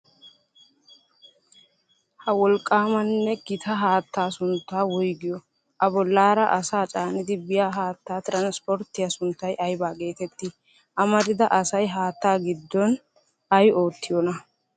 Ha wolqqaamanne gita haattaa sunttaa woygiyoo? A bollaara asaa caanidi biya haattaa tiranispporttiya sunttay aybaa geeteettii? Amarida asay haattaa giddon ay oottiyoonaa?